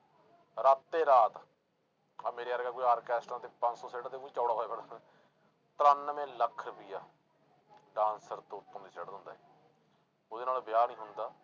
ਰਾਤੇ ਰਾਤ ਆਹ ਮੇਰੇ ਵਰਗਾ ਕੋਈ ਆਰਕੈਸਟਰਾਂ ਤੇ ਪੰਜ ਸੌ ਸੁੱਟ ਦੇ ਚੌੜਾ ਹੋਇਆ ਤਰਾਨਵੇਂ ਲੱਖ ਰੁਪਇਆ dancer ਤੋਂ ਉਤੋਂ ਦੀ ਸੁੱਟ ਦਿੰਦਾ ਇਹ, ਉਹਦੇ ਨਾਲ ਵਿਆਹ ਨੀ ਹੁੰਦਾ,